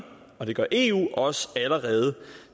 og det gør eu også allerede